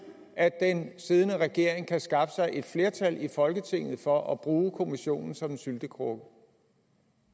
at den siddende regering kan skaffe sig et flertal i folketinget for at bruge kommissionen som en syltekrukke